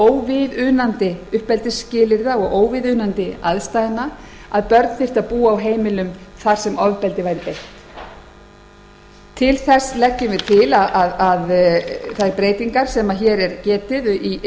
óviðunandi uppeldisskilyrða og aðstæðna að börn þyrftu að búa á heimilum þar sem ofbeldi væri beitt til þess leggjum við til þær breytingar sem hér er getið